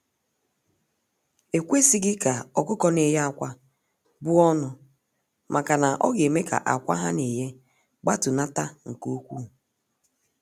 Ekwesighi ka ọkụkọ na eye akwa buọnụ maka na ọ ga eme ka akwa ha na eye gbatunata nke ukwu.